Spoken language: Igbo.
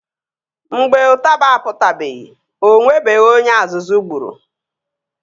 Mgbe ụtaba apụtabeghi o nwebeghi onye azụzụ gburu